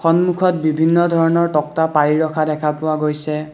সন্মূখত বিভিন্ন ধৰণৰ তক্তা পাৰি ৰখা দেখা পোৱা গৈছে।